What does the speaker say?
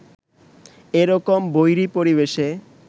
এ রকম বৈরী পরিবেশে